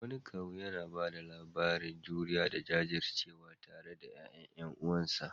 Wani kawu yana ba da labarin juriya da jajircewa tare da ƴaƴan ƴan uwansa.